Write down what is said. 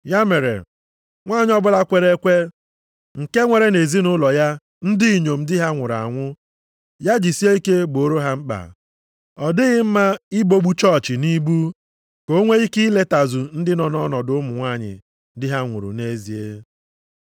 Ya mere, nwanyị ọbụla kwere ekwe, nke nwere nʼezinaụlọ ya ndị inyom di ha nwụrụ anwụ, ya jisie ike gboro ha mkpa. Ọ dịghị mma ibogbu chọọchị nʼibu, ka o nwee ike iletazu ndị nọ nʼọnọdụ ụmụ nwanyị di ha nwụrụ nʼezie.